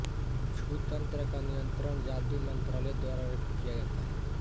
छू तंत्र का नियंत्रण जादू मंत्रालय द्वारा किया जाता है